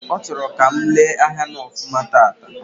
Ọ chọrọ ka m lee ahịa m ofuma taata